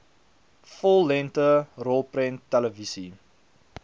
vollengte rolprent televisie